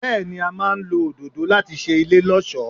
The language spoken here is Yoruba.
Bẹ́ẹ̀ni, a máa ń lọ òdòdó láti ṣe ilé lọ́ọ̀ṣọ́.